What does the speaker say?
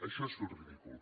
això és fer el ridícul